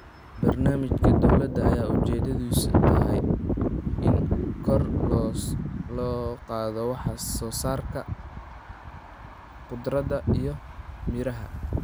Barnaamijka dowladda ayaa ujeedadiisu tahay in kor loo qaado wax soo saarka khudaarta iyo miraha.